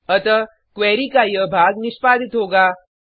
अतः क्वेरी का यह भाग निष्पादित होगा